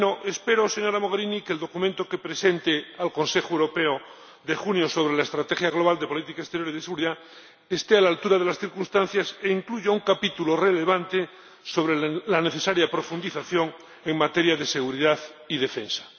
Espero, señora Mogherini, que el documento que presente al Consejo Europeo de junio sobre la estrategia global de la política exterior y de seguridad esté a la altura de las circunstancias e incluya un capítulo relevante sobre la necesaria profundización en materia de seguridad y defensa.